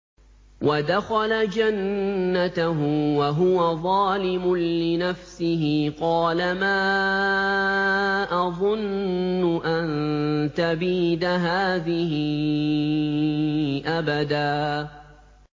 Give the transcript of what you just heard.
وَدَخَلَ جَنَّتَهُ وَهُوَ ظَالِمٌ لِّنَفْسِهِ قَالَ مَا أَظُنُّ أَن تَبِيدَ هَٰذِهِ أَبَدًا